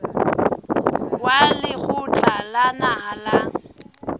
wa lekgotla la naha la